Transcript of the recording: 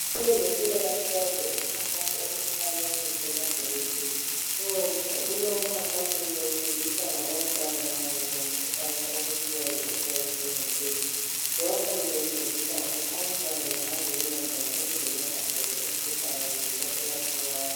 Abezempilakahle bayenze umkhankaso othwa learning collaborative. kulowo mkhankaso bebefundisa ngabantwana kanye lomkhuhlane okuthiwa yiHIV and AIDS. Lapho bebefundisa ukuthi abantwana bangazivikela njani ukuze bengatholi umkhuhlane besase bancinyane.